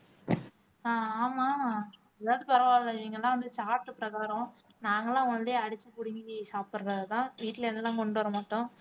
ஆஹ் ஆமா இதாவது பரவாயில்லை நீங்க எல்லாம் வந்து பிரகாரம் நாங்க எல்லாம் only அடிச்சு பிடுங்கி சாப்பிடுறதுதான் வீட்ல இருந்தெல்லாம் கொண்டு வர மாட்டோம்